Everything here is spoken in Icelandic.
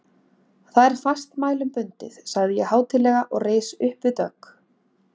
Það er fastmælum bundið, sagði ég hátíðlega og reis uppvið dogg.